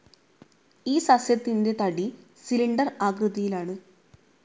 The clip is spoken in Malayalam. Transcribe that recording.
ഈ സസ്യത്തിന്റെ തടി സിലിണ്ടർ ആകൃതിയിലാണ്.